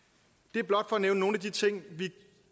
det er blot for at nævne nogle af de ting vi